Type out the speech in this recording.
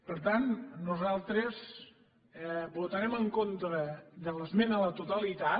per tant nosaltres votarem en contra de l’esmena a la totalitat